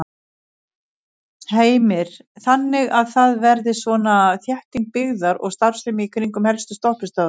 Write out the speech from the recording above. Heimir: Þannig að það verði svona þétting byggðar og starfsemi í kringum helstu stoppistöðvar?